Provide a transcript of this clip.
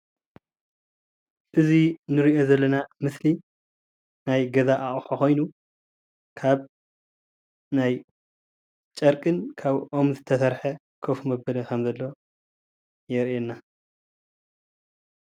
እዚ እንሪኦ ዘለና ምስሊ ናይ ገዛ ኣቁሑ ኾይኑ፤ ካብ ናይ ጨርቅን ካብ ኦም ዝተሰርሐ ኮፍ መበሊ ከም ዘሎ የርእየና።